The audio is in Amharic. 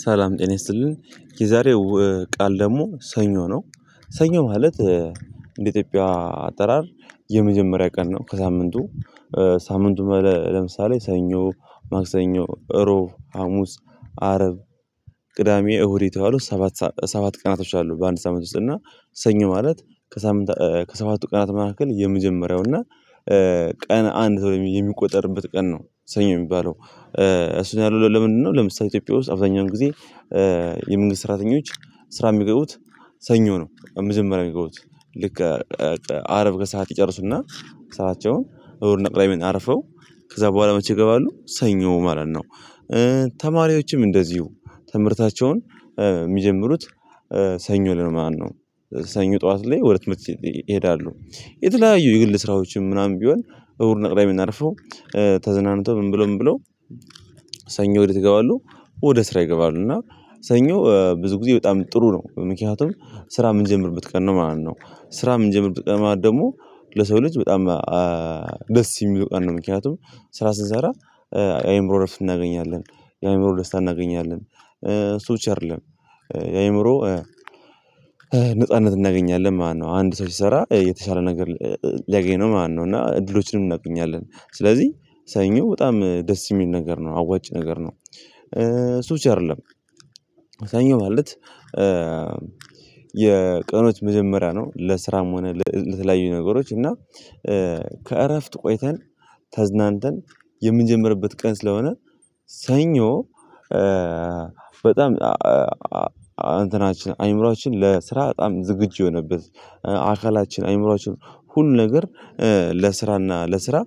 ሰላም ጤና ይስጥልን የዛሬው ቃል ደግሞ ሰኞ ነው። ሰኞ ማለትእንደ ኢትዮጵያ አጠራር የመጀመሪያ ቀን ነው ከሳምንቱ። ሳምንቱ ለምሳሌ ሰኞ ማክሰኞ እሮብ ሀሙስ አርብ ቅዳሜ እሁድ የተዋሉ ሰባት ቀናቶች አሉ። በአንድ ሳምንት ውስጥ እና ሰኞ ማለት ከሰባቱ ቀናት መካከል የመጀመሪያው እና ቀን አንድ ተብሎ የሚቆጠርበት ቀን ነው ሰኞ የሚባለው። እሱን ያሉት ለምንድነው? ለምሳሌ ኢትዮጵያ ውስጥ አብዛኛውን ጊዜ የመንግስት ስራተኞች ስራ የሚገቡት ሰኞ ነው። መጀመሪያ የሚገቡት ልክ አረብ ከሰአት ይጨርሱና ስራቸውን እሁድ ና ቅዳሜን አርፈው ከዛ በኋላ መቼ ይገባሉ ሰኞ ማለት ነው። ተማሪዎችም እንደዚሁ ትምህርታቸውን የሚጀምሩት ሰኞ ነው ማለት ነው። ሰኞ ጠዋት ላይ ወደ ትምህርት ይሄዳሉ። የተለያዩ የግል ስራዎችም ምናም ቢሆን እሁድና ቅዳሜን አርፈው ተዝናንተው ምን ብሎ ምን ብሎ ሰኞ ወዴት ይገባሉ? ወደ ስራ ይገባሉ እና ሰኞ ብዙ ጊዜ በጣም ጥሩ ነው። ምክኒያቱም ስራ የምንጀምርበት ቀን ነው ማለት ነው። ስራ የምንጀምርበት ቀን ማለት ደግሞ ለሰው ልጅ በጣም ደስ የሚለው ቀን ነው። ምክንያቱም ስራ ስንሰራ የአእምሮ እረፍት እናገኛለን የአእምሮ ደስታ እናገኛለን እሱብቻ አይደለም። የአእምሮ ነጻነት እናገኛለን ማነው አንድ ሰው ሲሰራ የተሻለ ነገር ሊያገኝ ነው? ማነው እና እድሎችንም እናገኛለን ስለዚህ ሰኞ በጣም ደስ የሚል ነገር ነው አዋጭ ነገር ነው። እሱ ብቻ አይደለም። ሰኞ ማለት የቀኖች መጀመሪያ ነው። ለስራም ሆነ ለተለያዩ ነገሮች እና ከእረፍት ቆይተን ተዝናንተን የምንጀምርበት ቀን ስለሆነ ሰኞ በጣም አእምሮአችን ለስራ በጣም ዝግጁ የሆነበት አካላችን አእምሮአችን ሁሉ ነገር ለስራና ለስራ